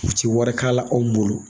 U ti wari k'a la anw bolo.